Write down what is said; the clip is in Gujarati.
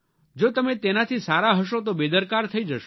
જો તમે તેનાથી સારા હશો તો બેદરકાર થઇ જશો